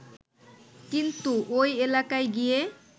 কিন্তু ওই এলাকায় গিয়ে